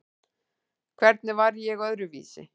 Hvernig var ég öðruvísi?